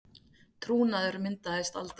Trúnaður myndaðist aldrei